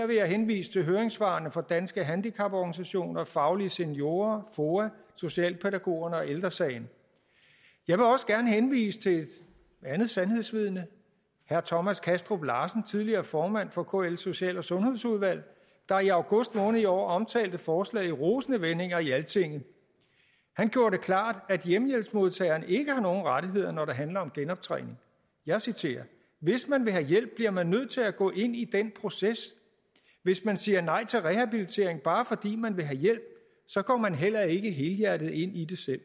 vil jeg henvise til høringssvarene fra danske handicaporganisationer faglige seniorer foa socialpædagogerne og ældre sagen jeg vil også gerne henvise til et andet sandhedsvidne herre thomas kastrup larsen tidligere formand for kls social og sundhedsudvalg der i august måned i år omtalte forslaget i rosende vendinger i altinget han gjorde det klart at hjemmehjælpsmodtageren ikke har nogen rettigheder når det handler om genoptræning jeg citerer hvis man vil have hjælp bliver man nødt til gå ind i den proces hvis man siger nej til rehabilitering bare fordi man vil have hjælp så går man heller ikke helhjertet ind i det selv